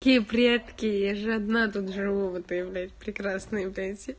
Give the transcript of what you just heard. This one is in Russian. киев редкие же одна тут здорово ты блядь прекрасные пенсии